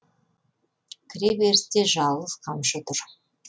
кіре берісте жалғыз қамшы тұр